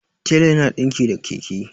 tela yana dinki da Keke